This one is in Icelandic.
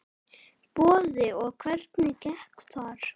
Boði: Og hvernig gekk þar?